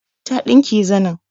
Ta ɗinke zanim